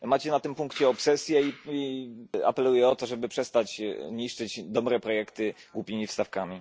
Macie na tym punkcie obsesję i apeluję o to, żeby przestać niszczyć dobre projekty głupimi wstawkami.